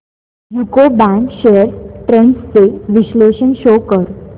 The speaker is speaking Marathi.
यूको बँक शेअर्स ट्रेंड्स चे विश्लेषण शो कर